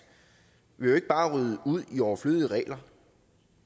vil jo ikke bare rydde ud i overflødige regler